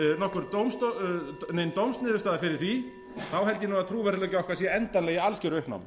legið nein dómsniðurstaða fyrir því held ég að trúverðugleiki okkar sé endanlega í algjöru uppnámi